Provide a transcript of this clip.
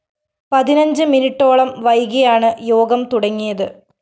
പതിനഞ്ച് മിനിട്ടോളം വൈകിയാണ് യോഗം തുടങ്ങിയത്